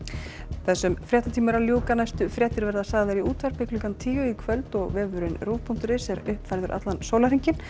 þessum fréttatíma er að ljúka næstu fréttir verða sagðar í útvarpi klukkan tíu í kvöld og vefurinn rúv punktur is er uppfærður allan sólarhringinn